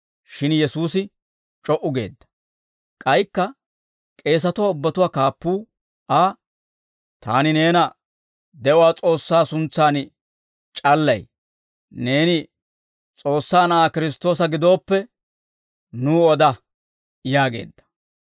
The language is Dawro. Shin Yesuusi c'o"u geedda; k'aykka k'eesatuwaa ubbatuwaa kaappuu Aa, «Taani neena de'uwaa S'oossaa suntsaan c'allay; neeni S'oossaa Na'aa Kiristtoosa gidooppe nuw oda» yaageedda.